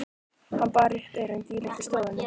Hann bar upp erindið í litlu stofunni.